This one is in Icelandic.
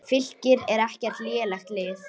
Fylkir er ekkert lélegt lið.